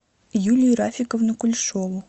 юлию рафиковну кулешову